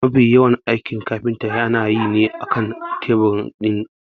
Mafi yawan aikin kafinta yana yi ne akan tebur ɗin aiki.